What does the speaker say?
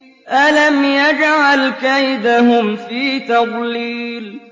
أَلَمْ يَجْعَلْ كَيْدَهُمْ فِي تَضْلِيلٍ